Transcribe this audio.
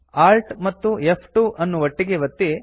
Alt ಮತ್ತು ಫ್2 ಅನ್ನು ಒಟ್ಟಿಗೇ ಒತ್ತಿ